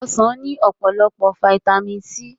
Ọsàn ní ọ̀pọ̀lọpọ̀ Fáítámì C